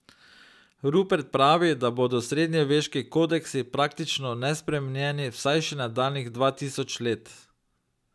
Rupert pravi, da bodo srednjeveški kodeksi praktično nespremenjeni vsaj še nadaljnjih dva tisoč let.